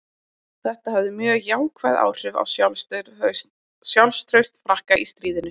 Þetta hafði mjög jákvæð áhrif á sjálfstraust Frakka í stríðinu.